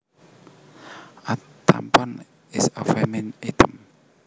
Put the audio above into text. A tampon is a feminine item